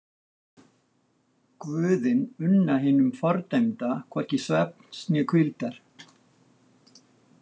Guðin unna hinum fordæmda hvorki svefns né hvíldar.